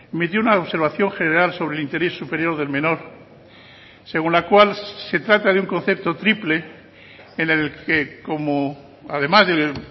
metió una observación general sobre el interés superior del menor según la cual se trata de un concepto triple en el que como además del